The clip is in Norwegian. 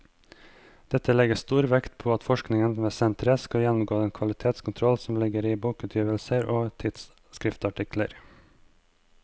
Dette legges stor vekt på at forskningen ved senteret skal gjennomgå den kvalitetskontroll som ligger i bokutgivelser og i tidsskriftsartikler.